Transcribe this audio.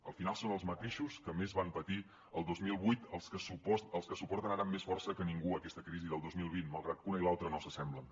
al final són els mateixos que més van patir el dos mil vuit els que suporten ara amb més força que ningú aquesta crisi del dos mil vint malgrat que una i l’altra no s’assemblen